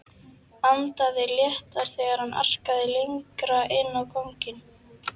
Andaði léttar þegar hann arkaði lengra inn á ganginn.